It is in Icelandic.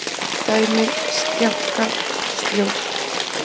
Dæmi: sljákka, sljór.